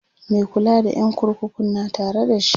Mai kula da ƴan kurkukun na Tare da shi